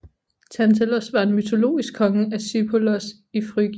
Tantalos var en mytologisk konge af Sipylos i Frygien